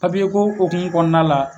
Papiyeko hukumu kɔnɔna la